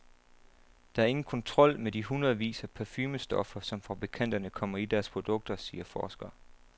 Der er ingen kontrol med de hundredvis af parfumestoffer, som fabrikanterne kommer i deres produkter, siger forsker.